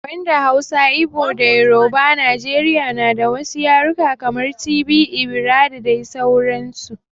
Banda Hausa, Igbo da Yoruba Najeriya na da wasu yarukan kamar, Tibi, Igbira da dai sauransu.